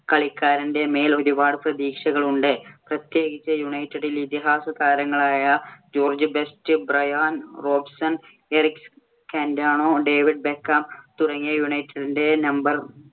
കളിക്കാരന്‍റെ മേൽ ഒരുപാട് പ്രതീക്ഷകളുണ്ട്. പ്രത്യേകിച്ച് യുണൈറ്റഡിൽ. ഇതിഹാസ താരങ്ങളായ George Best, Bryan Robson, Eric Cantona, David Beckham, തുടങ്ങിയ യുണൈറ്റഡിന്‍റെ number